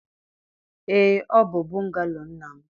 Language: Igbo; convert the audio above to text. Ee, ọ bụ bungalo nna m